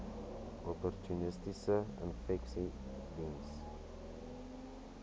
opportunistiese infeksies diens